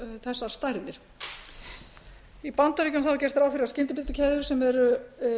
þessar stærðir í bandaríkjunum er gert ráð fyrir að skyndibitakeðjur sem eru